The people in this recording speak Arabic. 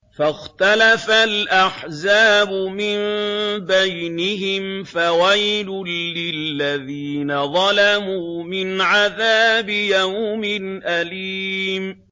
فَاخْتَلَفَ الْأَحْزَابُ مِن بَيْنِهِمْ ۖ فَوَيْلٌ لِّلَّذِينَ ظَلَمُوا مِنْ عَذَابِ يَوْمٍ أَلِيمٍ